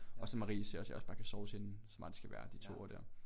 Og så Marie siger også jeg også bare kan sove hos hende som bare lige skal være de 2 uger dér